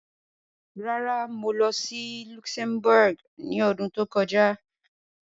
Rárá, mo lọ sí Luxembourg ní ọdún tó kọjá.